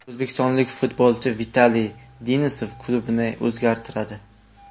O‘zbekistonlik futbolchi Vitaliy Denisov klubini o‘zgartiradi.